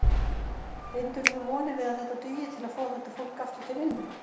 Bindurðu vonir við að þetta dugi til að fá þetta fólk aftur til vinnu?